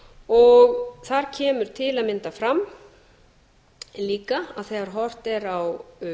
og þar kemur til að mynda fram líka að þegar horft er á